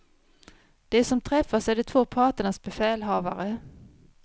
De som träffas är de två parternas befälhavare.